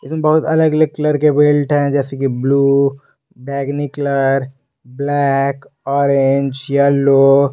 ये बहुत अलग अलग कलर के बेल्ट हैं जैसे की ब्लू बैगनी कलर ब्लैक ऑरेंज येलो ।